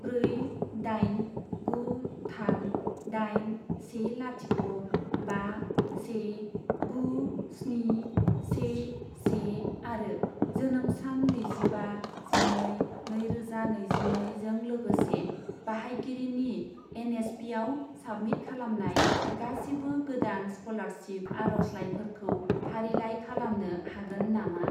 ब्रै दाइन गु थाम दाइन से लाथिख' बा से गु स्नि से से आरो जोनोम सान नैजिबा जिनै नैरोजा नैजिनै जों लोगोसे बाहायगिरिनि एन.एस.पि.आव साबमिट खालामनाय गासिबो गोदान स्कलारशिप आर'जलाइफोरखौ फारिलाइ खालामनो हागोन नामा?